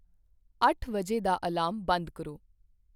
ਅੱਠ ਵਜੇ ਦਾ ਅਲਾਰਮ ਬੰਦ ਕਰੋ